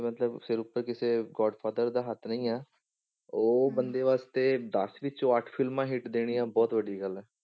ਮਤਲਬ ਸਿਰ ਉੱਪਰ ਕਿਸੇ godfather ਦਾ ਹੱਥ ਨਹੀਂ ਆ, ਉਹ ਬੰਦੇ ਵਾਸਤੇ ਦਸ ਵਿੱਚੋਂ ਅੱਠ ਫਿਲਮਾਂ hit ਦੇਣੀਆਂ ਬਹੁਤ ਵੱਡੀ ਗੱਲ ਆ।